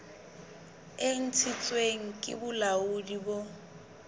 e ntshitsweng ke bolaodi bo